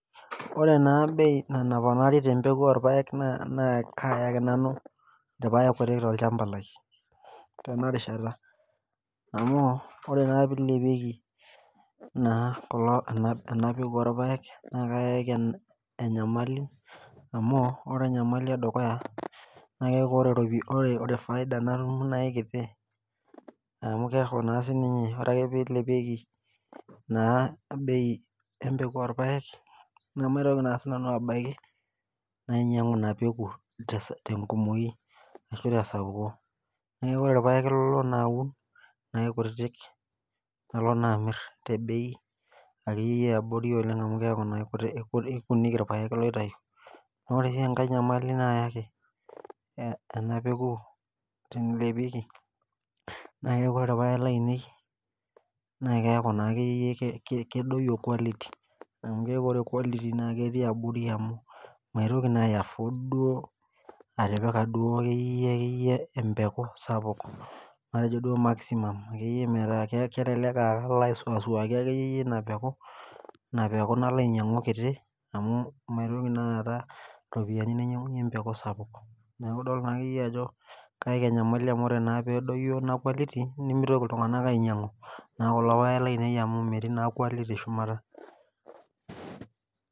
Oree naa bei naponari te mbeku olpaek naa kayaki nanu ilpaek kutik tolchamba lai tenarishata amu oree naa teneilepieki ena peeku olpaek naa kayaki nyamali amu ore enyamali edukuya naa keeku ore faida natum na aikiti amu keeku na sininye ore naa peilepiekinaa bei empeku olpaek namaitoki naa sinanu abaki nainyangu ina pekuu te nkomoyu ashuu tesapuko neeku ore ilpaek lalo naa aun naa aikutitik nalo naa amir tebei ake iyie iyie eabori amu keeku naa kekutik ilpaek laitayu naa oree sii enkae nyamali naayaki ena peeku teneilepieki naa keku ore ilpaek lainei naa keeku kedoyio quality amu keeku ore quality keeku ketii abori amu maitokii na duo ai afford atipika duo ake iyie iyie empeku sapuk matejo duo ake iyie maximum kelelek duo ake iyie alo aisuaki ina peku nalo ainyangu kitii amuu maitoki naa aata iropiyiani nainyangunye empeku sapuk neeku idol naa ake iyie iyie ajokeeku enyamali amu tenedoyio naa ina quality nemeitoki iltunganak ainyangu ilpaek lainei amuu metii naa quality shumata.